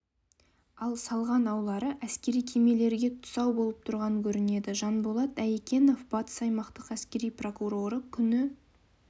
ал салған аулары әскери кемелерге тұсау болып тұрған көрінеді жанболат айекенов батыс аймақтық әскери прокуроры күні